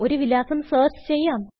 ഒരു വിലാസം സെർച്ച് ചെയ്യാം